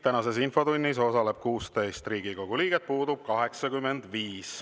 Tänases infotunnis osaleb 16 Riigikogu liiget, puudub 85.